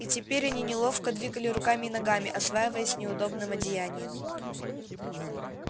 и теперь они неловко двигали руками и ногами осваиваясь с неудобным одеянием